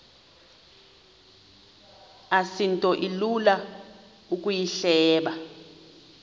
asinto ilula ukuyihleba